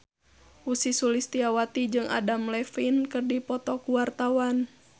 Ussy Sulistyawati jeung Adam Levine keur dipoto ku wartawan